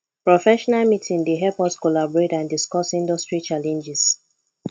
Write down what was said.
professional meeting dey help us collaborate and discuss industry challenges